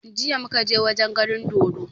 Jiya muka je wajen ganin dodo